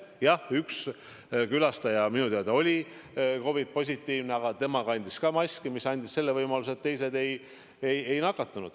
Jah, üks külastaja minu teada oli COVID-positiivne, aga tema kandis maski, mis andis võimaluse, et teised ei nakatunud.